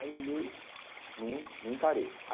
Aí olhei né, não encarei.